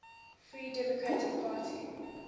free democratic party